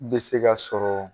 I bɛ se ka sɔrɔ